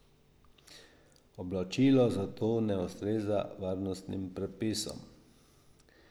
Oblačilo zato ne ustreza varnostnim predpisom.